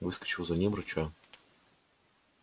выскочил за ним рыча